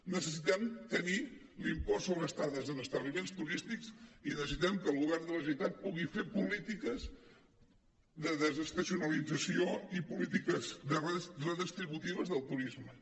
necessitem tenir l’impost sobre estades en establiments turístics i necessitem que el govern de la generalitat pugui fer polítiques de desestacionalització i polítiques redistributives del turisme